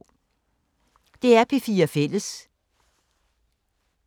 DR P4 Fælles